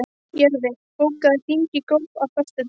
Jörfi, bókaðu hring í golf á föstudaginn.